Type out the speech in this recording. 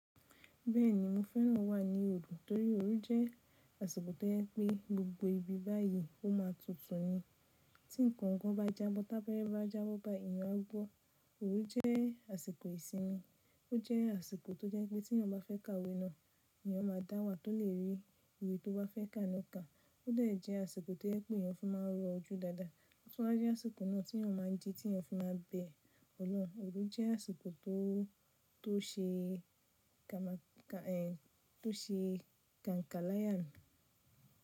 Bẹ́ẹ̀ni, mo fẹ́ràn wà ní òòlù torí òòru jẹ́ àsìkò tó jẹ́ pé gbogbo ibi báyìí ó má tútù ni. Tí ǹkan kan bá jábọ́, tábẹ̀ẹ̀ bẹ́ bá jábọ́ ba èèyàn á gbọ́. Òòru jẹ́ àsìkò ìsinmi. Ó jẹ́ àsìkò tó jẹ́ pé tí èèyàn bá fẹ́ ka òwe náà, èèyàn máa dáwà tó lè rí òwe tó fẹ́ ká náà ká. Ó dà jẹ́ àsìkò tó jẹ́ pé èèyàn fi máa rọ̀ ojú dáadáa. Ṣọlá jẹ́ àsìkò náà tí èèyàn máa ń jí, tí èèyàn fi máa bẹ ọlọ́run. Òòru jẹ́ àsìkò tó ṣe kànkànláyàni.